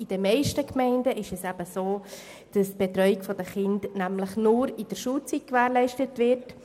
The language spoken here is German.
In den meisten Gemeinden ist es so, dass die Betreuung der Kinder nur während der Schulzeit gewährleistet wird.